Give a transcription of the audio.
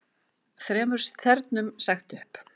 Þremur þernum sagt upp